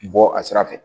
Bɔ a sira fɛ